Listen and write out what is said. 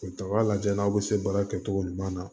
Taga lajɛ n'aw bɛ se baara kɛcogo ɲuman na